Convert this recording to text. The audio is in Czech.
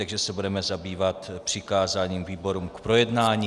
Takže se budeme zabývat přikázáním výborům k projednání.